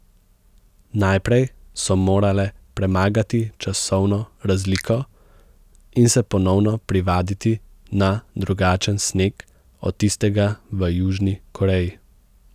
Najprej so morale premagati časovno razliko in se ponovno privaditi na drugačen sneg od tistega v Južni Koreji.